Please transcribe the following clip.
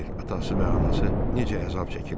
Kim bilir, atası və anası necə əzab çəkirlər?